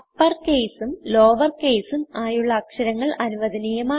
uppercaseഉം lowercase ഉം ആയുള്ള അക്ഷരങ്ങൾ അനുവധനീയമാണ്